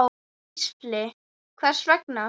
Gísli: Hvers vegna?